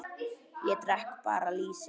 Ég drekk bara lýsi!